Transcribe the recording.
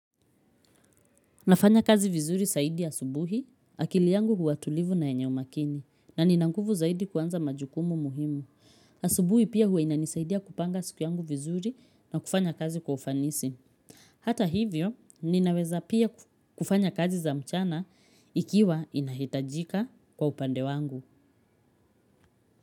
Nafanya kazi vizuri zaidi asubuhi, akili yangu huwa tulivu na yenye umakini na ninanguvu zaidi kuanza majukumu muhimu. Asubuhi pia huwa inanisaidia kupanga siku yangu vizuri na kufanya kazi kwa ufanisi. Hata hivyo, ninaweza pia kufanya kazi za mchana ikiwa inahitajika kwa upande wangu.